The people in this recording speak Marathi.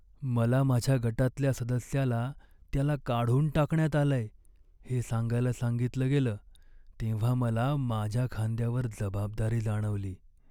मला माझ्या गटातल्या सदस्याला त्याला काढून टाकण्यात आलंय हे सांगायला सांगितलं गेलं, तेव्हा मला माझ्या खांद्यावर जबाबदारी जाणवली.